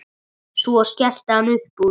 Svo skellti hann upp úr.